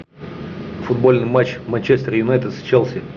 футбольный матч манчестер юнайтед с челси